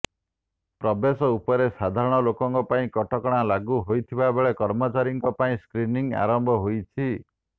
ପ୍ରବେଶ ଉପରେ ସାଧାରଣ ଲୋକଙ୍କ ପାଇଁ କଟକଣା ଲାଗୁ ହୋଇଥିବା ବେଳେ କର୍ମଚାରୀଙ୍କ ପାଇଁ ସ୍କ୍ରିନିଂ ଆରମ୍ଭ ହୋଇଛି